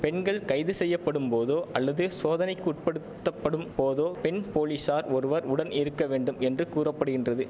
பெண்கள் கைது செய்யப்படும் போதோ அல்லது சோதனைக்குட்படுத்தப்படும் போதோ பெண் போலிஸார் ஒருவர் உடன் இருக்க வேண்டும் என்று கூற படுகின்றது